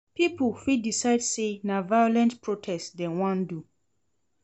Pipo fit decide say na violent protest dem won do